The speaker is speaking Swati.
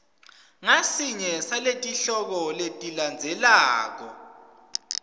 ngasinye saletihloko letilandzelako